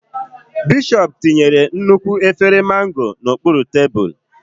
Bishọp tinyere nnukwu efere Mango n'okpuru tebụl.